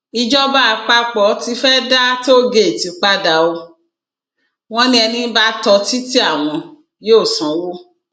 ìjọba àpapọ tí fee dá tóògèètì padà ọ wọn ni ẹni bá tó títí àwọn yóò sanwó